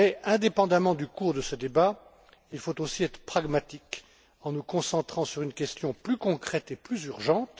Indépendamment du cours de ce débat, il faut aussi être pragmatique, en nous concentrant sur une question plus concrète et plus urgente.